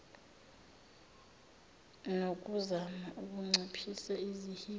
nokuzama ukunciphisa izihibe